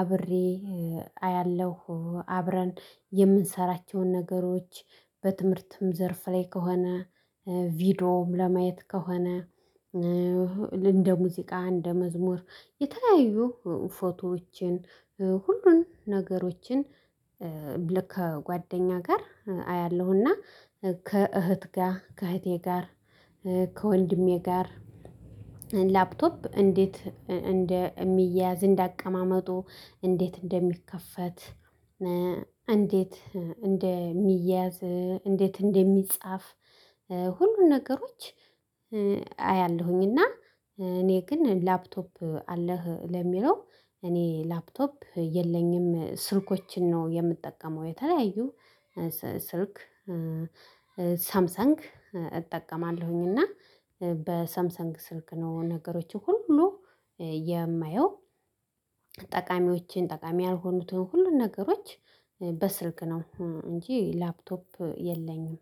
አብሬ አያለሁ፤ አብረን የምንሠራቸውን ነገሮች፣ በትምህርትም ዘርፍ ላይ ከሆነ ቪዲዮም ለማየት ከሆነ፣ እንደ ሙዚቃ፣ እንደ መዝሙር፣ የተለያዩ ፎቶዎችን፣ ሁሉንም ነገሮችን ከጓደኛዬ ጋር አያለሁ፤ እና ከእህቴ ጋር ከእህቴ ጋር፣ ከወንድሜ ጋር ላፕቶፕ እንዴት እንደሚታይ፣ እንደ አቀማመጡ፣ እንዴት እንደሚከፈት፣ እንዴት እንደሚታይ፣ እንዴት እንደሚጻፍ፣ ሁሉንም ነገሮች አያለሁኝ፤ እና እኔ ግን "ላፕቶፕ አለህ?" ለሚለው፣ እኔ ላፕቶፕ የለኝም፤ ስልኮችን ነው የምጠቀመው፤ የተለያዩ ስልክ ሳምሰንግ እጠቀማለሁኝ፤ እና በሳምሰንግ ስልክ ነው ነገሮችን ሁሉ የማየው። ጠቃሚዎቹንም ጠቃሚ ያልሆኑትንም ሁሉንም ነገሮች በስልክ ነው እንጂ፣ ላፕቶፕ የለኝም።